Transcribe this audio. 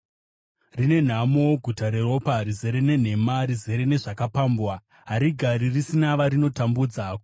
Rine nhamo guta reropa, rizere nenhema, rizere nezvakapambwa, harigari risina varinotambudza!